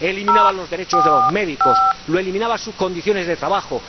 Eliminaba los derechos de los médicos, eliminaba sus condiciones de trabajo.